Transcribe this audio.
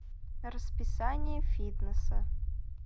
расписание фитнеса